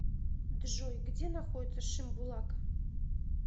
джой где находится шимбулак